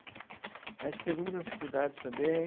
A gente teve muitas dificuldades também.